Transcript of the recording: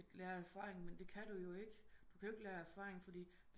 Skal lære af erfaring men det kan du jo ikke du kan ikke lære af erfaring fordi